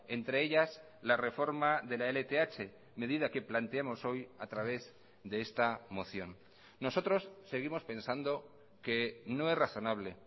entre ellas la reforma de la lth medida que planteamos hoy a través de esta moción nosotros seguimos pensando que no es razonable